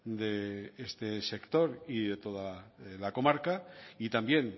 de este sector y de toda la comarca y también